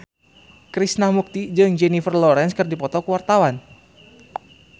Krishna Mukti jeung Jennifer Lawrence keur dipoto ku wartawan